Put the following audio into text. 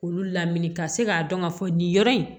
Olu lamini ka se k'a dɔn ka fɔ nin yɔrɔ in